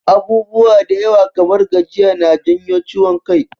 Abubuwa da yawa kamar gajiya na janyo ciwon kai.